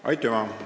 Aitüma!